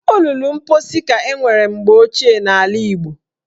Olulu mposi ka enwere mgbe ochie n'ala Igbo